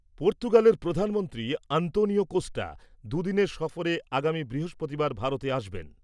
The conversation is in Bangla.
পর্তুগালের প্রধানমন্ত্রী আন্তোনিও কোস্টা দুদিনের সফরে আগামী বৃহস্পতিবার ভারতে আসবেন।